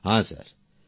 প্রেম জী হ্যাঁ